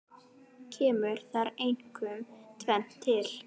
Kemur þar einkum tvennt til.